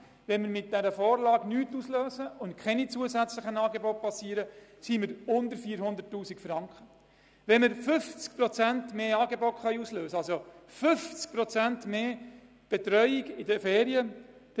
Wenn 50 Prozent mehr Angebote bereitgestellt werden, liegen die Ausgaben pro Jahr bei rund 550'000 Franken.